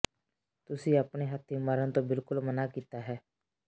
ਤੁਸੀਂ ਆਪਣੇ ਹੱਥੀਂ ਮਰਨ ਤੋਂ ਬਿਲਕੁਲ ਮਨ੍ਹਾ ਕੀਤਾ ਹੈ